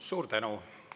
Suur tänu!